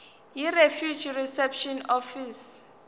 yirefugee reception office